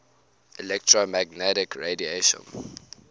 electromagnetic radiation